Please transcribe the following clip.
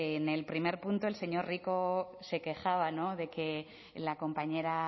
en el primer punto el señor rico se quejaba de que la compañera